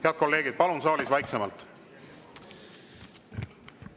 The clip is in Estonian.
Head kolleegid, palun saalis vaiksemalt!